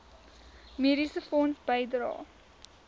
mediese fonds bydrae